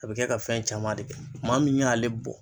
A be kɛ ka fɛn caman de kɛ maa min y'ale bɔ